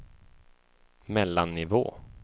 mellannivå